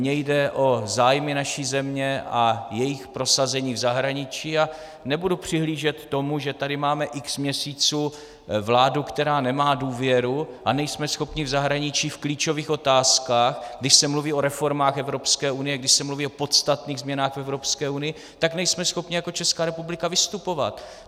Mně jde o zájmy naší země a jejich prosazení v zahraničí a nebudu přihlížet tomu, že tady máme x měsíců vládu, která nemá důvěru, a nejsme schopni v zahraničí v klíčových otázkách, když se mluví o reformách Evropské unie, když se mluví o podstatných změnách v Evropské unii, tak nejsme schopni jako Česká republika vystupovat.